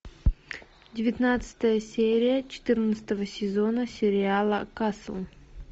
девятнадцатая серия четырнадцатого сезона сериала касл